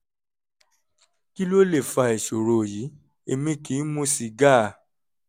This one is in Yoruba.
kí ló lè fa ìṣòro yìí? èmi kì í mu sìgá